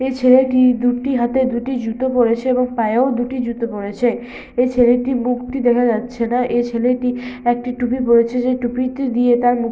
এই ছেলেটি দুটি হাতে দুটি জুতো পরেছে এবং পায়ে ও দুটি জুতো পরেছে এই ছেলেটির মুখটি দেখা যাচ্ছে না। এ ছেলেটি একটি টুপি পরেছে যেই টুপিটি দিয়ে তার মুখ --